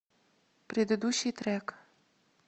предыдущий трек